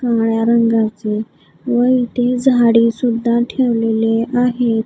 काळ्या रंगाचे व इथे झाडे सुद्धा ठेवलेले आहेत.